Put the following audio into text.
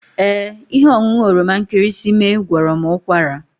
Ee, ihe ọṅụṅụ oroma nkịrịsịmee gwọrọ m ụkwara